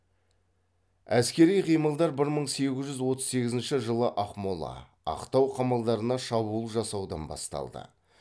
әскери қимылдар бір мың сегіз жүз отыз сегізінші жылы ақмола ақтау қамалдарына шабуыл жасаудан басталды